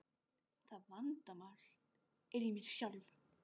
Það vandamál er í mér sjálfum.